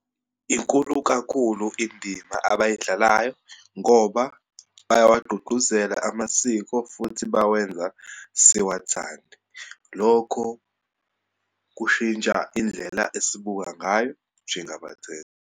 Inkulu kakhulu indima abayidlalayo ngoba bayawagqugquzela amasiko, futhi bawenza siwathande. Lokho kushintsha indlela esibuka ngayo njengabathengi.